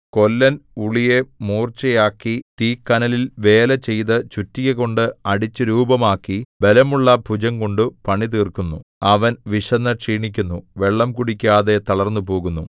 കൊല്ലൻ ഉളിയെ മൂർച്ചയാക്കി തീക്കനലിൽ വേലചെയ്തു ചുറ്റികകൊണ്ട് അടിച്ചു രൂപമാക്കി ബലമുള്ള ഭുജംകൊണ്ടു പണിതീർക്കുന്നു അവൻ വിശന്നു ക്ഷീണിക്കുന്നു വെള്ളം കുടിക്കാതെ തളർന്നുപോകുന്നു